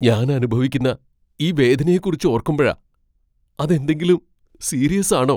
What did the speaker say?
ഞാൻ അനുഭവിക്കുന്ന ഈ വേദനയെക്കുറിച്ച് ഓർക്കുമ്പഴാ. അത് എന്തെങ്കിലും സീരിയസ് ആണോ ?